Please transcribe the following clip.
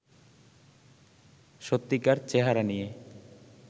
সত্যিকার চেহারা নিয়ে